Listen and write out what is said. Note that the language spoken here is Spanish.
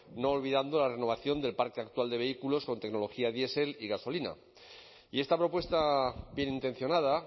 no olvidando la renovación del parque actual de vehículos con tecnología diesel y gasolina y esta propuesta bienintencionada